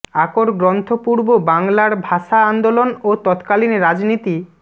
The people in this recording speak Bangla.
আকর গ্রন্থ পূর্ব বাঙলার ভাষা আন্দোলন ও তৎকালীন রাজনীতি